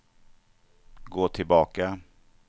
gå tillbaka